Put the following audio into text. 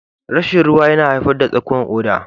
Rashin ruwa yana haifar da tsakuwan koda.